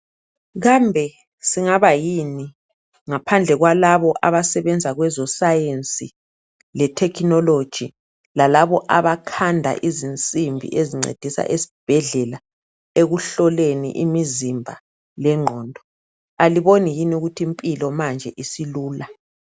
Kambe singaba yini ngaphandle kwalabo abasebenza kweze science le technology lalabo abakhanda izinsimbi ezincedisa ezibhedlela ekuhloleni imizimba lengqondo aliboni yini ukuthi impilo manje isilula.